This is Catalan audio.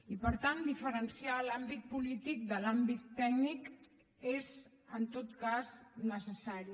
i per tant diferenciar l’àmbit polític de l’àmbit tècnic és en tot cas necessari